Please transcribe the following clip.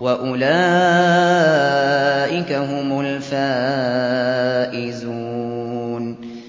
وَأُولَٰئِكَ هُمُ الْفَائِزُونَ